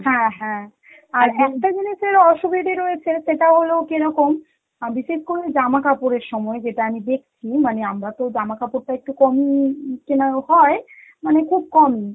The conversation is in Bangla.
হ্যাঁ হ্যাঁ আর একটা জিনিসের অসুবিধা রয়েছে, এগুলো কেরকম আ বিশেষ করে জামা কাপড়ের সময় যেটা আমি দেখছি মানে আমরা তো জামা কাপড়টা একটু কমই উম কেনা হয় মানে খুব কম,